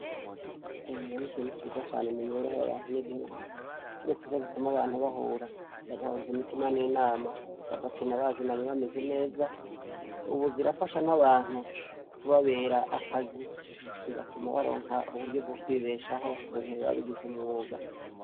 Inkino n'ikintu ciza cane mumibereho yabanyagihugu. kiretse KO ziguma abantu bahura, bagahuza imitima n'inama, bagakina bazinanyi bameze neza, ubu zirafasha n'abantu kubabera akazi zigatuma baronka uburyo bwokwibeshaho, mugihe babigize umwuga.